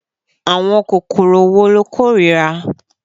Àwọn kòkòrò wo lo kórìíra?